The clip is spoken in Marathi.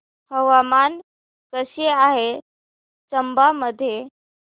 हवामान कसे आहे चंबा मध्ये